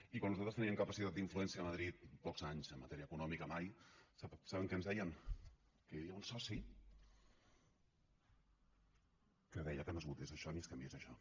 i quan nosaltres teníem capacitat d’influència a madrid pocs anys en matèria econòmica mai saben què ens deien que hi havia un soci que deia que no es votés això ni es canviés això